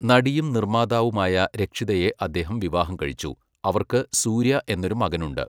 നടിയും നിർമ്മാതാവുമായ രക്ഷിതയെ അദ്ദേഹം വിവാഹം കഴിച്ചു, അവർക്ക് സൂര്യ എന്നൊരു മകനുണ്ട്.